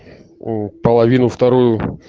половину вторую